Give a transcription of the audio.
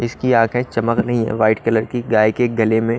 इसकी आंखें चमक रहीं वाइट कलर की गाय के गले में--